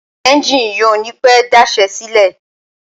Ẹ́njìnì yìí ò ní pẹ́ daṣẹ́ sílẹ̀.